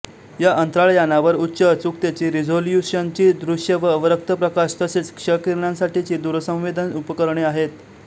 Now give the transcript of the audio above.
या अंतराळयानावर उच्च अचूकतेची रिझोल्यूशनची दृश्य व अवरक्त प्रकाश तसेच क्षकिरणांसाठीची दूरसंवेदन उपकरणे आहेत